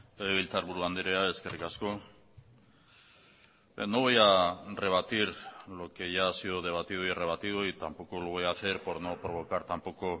legebiltzarburu andrea eskerrik asko no voy a rebatir lo que ya ha sido debatido y rebatido y tampoco lo voy a hacer por no provocar tampoco